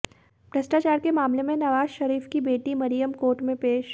भ्रष्टाचार के मामले में नवाज शरीफ की बेटी मरियम कोर्ट में पेश